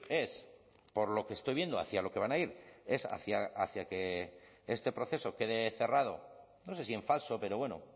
es por lo que estoy viendo hacia lo que van a ir es hacia que este proceso quede cerrado no sé si en falso pero bueno